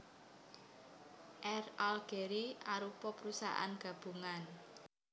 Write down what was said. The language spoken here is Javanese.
Air Algérie arupa perusahaan gabungan